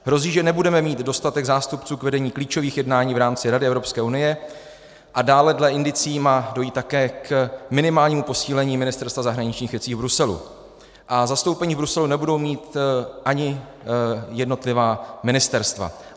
Hrozí, že nebudeme mít dostatek zástupců k vedení klíčových jednání v rámci Rady Evropské unie, a dále dle indicií má dojít také k minimálnímu posílení Ministerstva zahraničních věcí v Bruselu a zastoupení v Bruselu nebudou mít ani jednotlivá ministerstva.